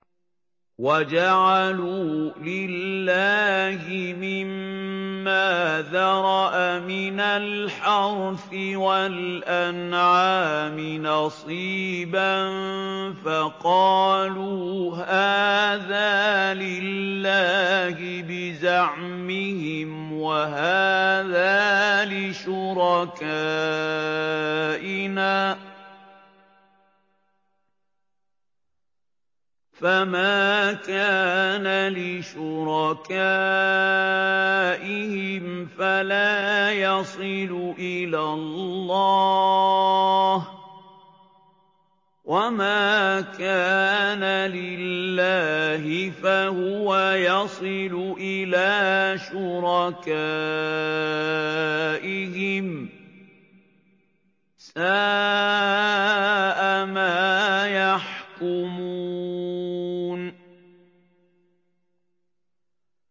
وَجَعَلُوا لِلَّهِ مِمَّا ذَرَأَ مِنَ الْحَرْثِ وَالْأَنْعَامِ نَصِيبًا فَقَالُوا هَٰذَا لِلَّهِ بِزَعْمِهِمْ وَهَٰذَا لِشُرَكَائِنَا ۖ فَمَا كَانَ لِشُرَكَائِهِمْ فَلَا يَصِلُ إِلَى اللَّهِ ۖ وَمَا كَانَ لِلَّهِ فَهُوَ يَصِلُ إِلَىٰ شُرَكَائِهِمْ ۗ سَاءَ مَا يَحْكُمُونَ